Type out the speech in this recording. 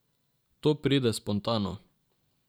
To pride spontano.